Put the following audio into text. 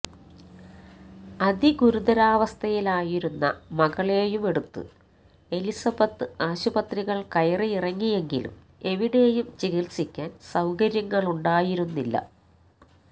അതിഗുരുതരാവസ്ഥയിലായിരുന്ന മകളെയുമെടുത്ത് എലിസബത്ത് ആശുപത്രികൾ കയറിയിറങ്ങിയെങ്കിലും എവിടെയും ചികിത്സിക്കാൻ സൌകര്യങ്ങളുണ്ടായിരുന്നില്ല